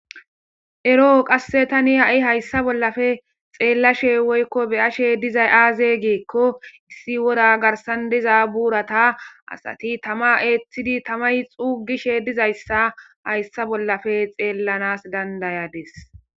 ero7o qasse tani ha7i hayssa bollafe xeellashe woykko beyashe dizay aaze giekko issi wora garsan diza buurata asati tama eeththidi tamay xuugishe dizayssa hayssa bollafe xeellanas dandayades